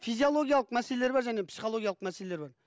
физиологиялық мәселелер бар және психологиялық мәселелер бар